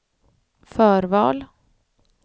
förval